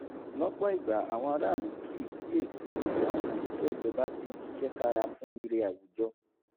lọ́pọ̀ ìgbà àwọn aráàlú kì í kíyèsí bí àwọn òṣìṣẹ́ ìjọba ṣe ń ṣiṣẹ́ kára fún ire àwùjọ